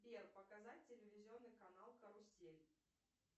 сбер показать телевизионный канал карусель